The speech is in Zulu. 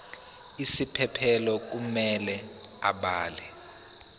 isiphephelo kumele abhale